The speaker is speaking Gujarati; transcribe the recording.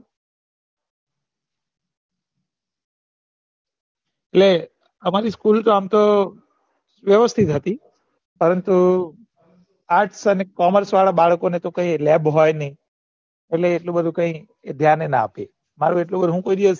એટલે અમારી school આમ તો વેવ્સ્થિત હતી પરંતુ arts અને commerce વાળા ને તો કઈ leb હોય નહિ એટલે એટલું બધું કઈ ધ્યાન પણ ના આપે